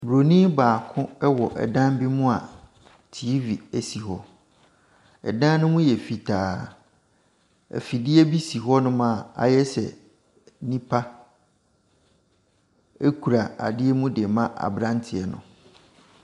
Bronin baako ɛwɔ dan bi mu a TV ɛsi hɔ, dan ne mu yɛ fitaa, afidie bi si hɔnom a ayɛ sɛ nipa ɛkura adeɛ ɛde rema aberanteɛ no.